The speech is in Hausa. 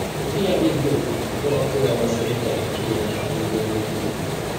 Mutum ya iya biyan kuɗin don a koya masa yadda ake gina manhajojin yanar gizo.